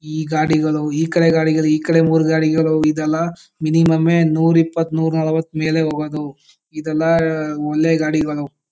ಈ ಗಾಡಿಗಳು ಈಕಡೆಗಾಡಿಗಳು ಈಕಡೆ ಮೂರು ಗಾಡಿಗಲು ಇದೆಲಾ ಮಿನಿಮುಂ ಯೇ ನೂರು ಎಪ್ಪಿತು ನೂರು ನಲ್ವತ್ತು ಮೇಲೆ ಹೋಗೋದು ಇದು ಏಲ್ಲ ಒಳ್ಳೆ ಗಾಡಿಗಳು --